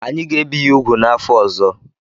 Anyị ga-ebi ya úgwù n'afọ ọzọ.